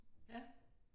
Ja